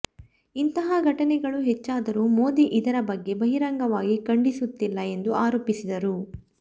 ಇಂತಹ ಘಟನೆಗಳು ಹೆಚ್ಚಾದರೂ ಮೋದಿ ಇದರ ಬಗ್ಗೆ ಬಹಿರಂಗವಾಗಿ ಖಂಡಿಸುತ್ತಿಲ್ಲ ಎಂದು ಆರೋಪಿಸಿದರು